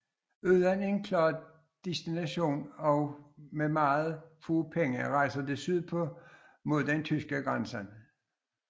Uden en klar destination og med meget få penge rejser de sydpå mod den tyske grænse